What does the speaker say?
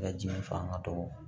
La jiri fanga dɔgɔ